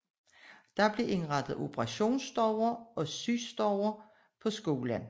Der blev indrettet operationsstuer og sygestuer på skolen